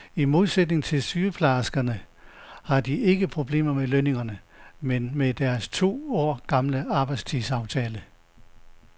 I modsætning til sygeplejerskerne har de ikke problemer med lønningerne, men med deres to år gamle arbejdstidsaftale.